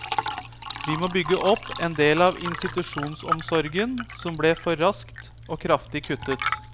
Vi må bygge opp en del av institusjonsomsorgen som ble for raskt og kraftig kuttet.